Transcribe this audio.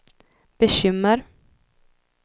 bekymmer